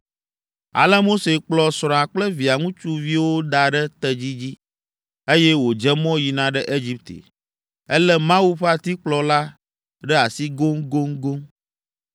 Ale Mose kplɔ srɔ̃a kple via ŋutsuviwo da ɖe tedzi dzi, eye wòdze mɔ yina ɖe Egipte. Elé “Mawu ƒe atikplɔ” la ɖe asi goŋgoŋgoŋ!